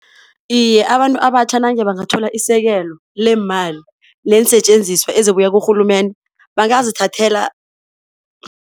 Iye abantu abatjha nange bangathola isekelo leemali neensetjenziswa ezibuya kurhulumende bangazithathela